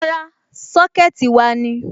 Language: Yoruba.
Rárá, Sọ́kẹ̀tì wa ni.